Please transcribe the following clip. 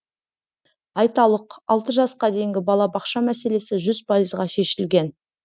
айталық алты жасқа дейінгі балабақша мәселесі жүз пайызға шешілген